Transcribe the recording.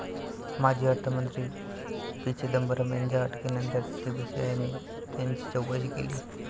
माजी अर्थमंत्री पी. चिंदबरम यांच्या अटकेनंतर सीबीआयने त्यांची चौकशी केली.